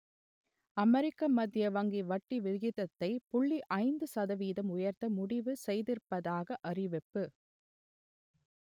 அமெரிக்க மத்திய வங்கி வட்டி விகிதத்தை புள்ளி ஐந்து சதவீதம் உயர்த்த முடிவு செய்திருப்பதாக அறிவிப்பு